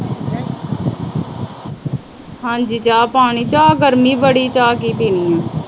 ਹਾਂਜੀ। ਚਾਹ-ਪਾਣੀ। ਚਾਹ ਗਰਮੀ ਬੜੀ ਆ, ਚਾਹ ਕੀ ਪੀਣੀ ਆ।